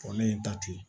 Kɔrɔlen n ta ten